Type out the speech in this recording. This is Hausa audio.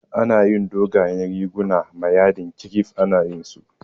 Ana yin dogayen riguna ma yadin kirif, ana yayin su